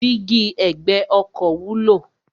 Dígí ẹ̀gbẹ́ ọkọ̀ wúlò.